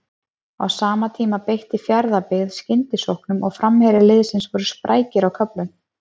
Á sama tíma beitti Fjarðabyggð skyndisóknum og framherjar liðsins voru sprækir á köflum.